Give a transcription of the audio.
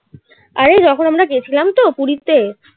আরে যখন আমরা গেছিলাম তো পুরীতে.